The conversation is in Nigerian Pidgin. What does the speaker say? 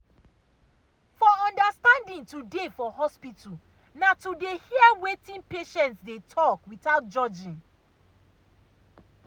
for understanding to dey for hospital na to na to hear wetin patients out without judging.